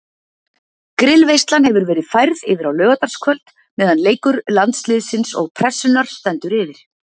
Grillveislan hefur verið færð yfir á laugardagskvöld meðan leikur Landsliðsins og Pressunnar stendur yfir.